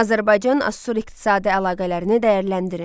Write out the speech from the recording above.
Azərbaycan Asur iqtisadi əlaqələrini dəyərləndirin.